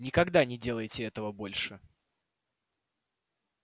никогда не делайте этого больше